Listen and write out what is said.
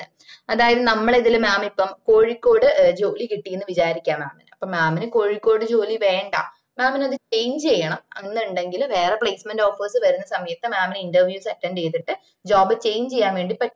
അതായത് നമ്മള ഇതില mam ഇപ്പൊ കോഴിക്കോട് ജോലി കിട്ടീന്ന് വിചാരിക്ക mam ന് അപ്പൊ mam ന് കോഴിക്കോട് ജോലി വേണ്ട mam ന് അത് change ചെയ്യണം എന്നുണ്ടേൽ വേറെ placement offers വരുന്ന സമയത്ത് mam ന് interviews attend ചെയ്‍തിട്ട് job change ചെയ്യാൻ വേണ്ടി പറ്റും